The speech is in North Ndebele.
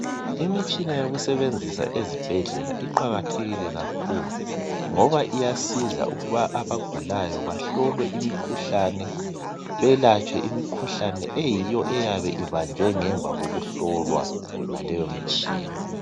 Imitshina yokusebenzisa ezibhedlela iqakathekile kakhulu ngoba iyasiza ukuba abagulayo bahlolwe imikhuhlane belatshwe imikhuhlane eyiyo eyabe ibanjwe ngemva kokuhlolwa ngaleyomtshina.